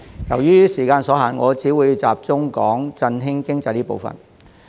由於時間所限，我只會集中談談振興經濟這個部分。